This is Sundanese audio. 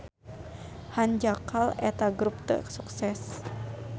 Hanjakal eta grup teu sukses.